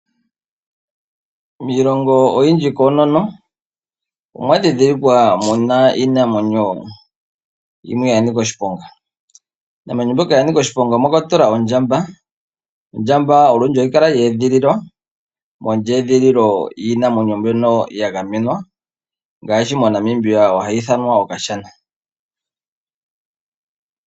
Miilongo oyindji koonono, omwa dhidhilikwa mu na iinamwenyo yimwe ya nika oshiponga. Miinamwenyo mbyoka ya nika oshiponga omwa kwatelwa ondjamba, ondjamba olundji ohayi kala ya edhililwa, mondjedhililo yiinamweno mbyono ya gamenwa, ngaashi moNamibia ohayi ithanwa Okashana.